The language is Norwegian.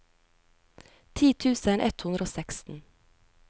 ti tusen ett hundre og seksten